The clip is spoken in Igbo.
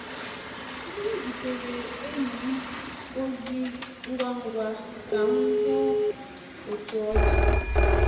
M zitere enyi m ozi um ngwa ngwa ka m hụ otu ọ dị.